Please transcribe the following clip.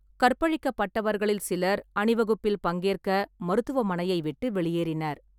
கற்பழிக்கப்பட்டவர்களில் சிலர் அணிவகுப்பில் பங்கேற்க மருத்துவமனையை விட்டு வெளியேறினர்.